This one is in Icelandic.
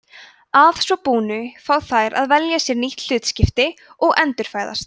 að svo búnu fá þær að velja sér nýtt hlutskipti og endurfæðast